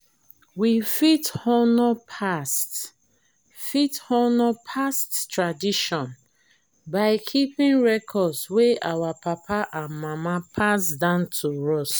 we fit honour past fit honour past tradition by keeping records wey our papa and mama pass down to us